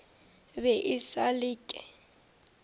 be e sa le ke